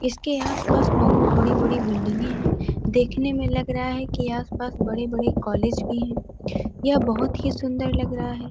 इसके आस-पास बहुत बड़ी बड़ी बिल्डिंगें हैं देखने में लग रहा है कि आस-पास बड़े-बड़े कॉलेज भी हैं यह बहुत ही सुंदर लग रहा है।